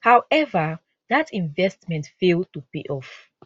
howeva dat investment fail to pay off